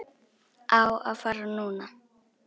Á að fara núna.